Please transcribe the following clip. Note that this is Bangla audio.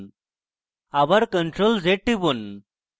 আবার ctrl + z টিপুন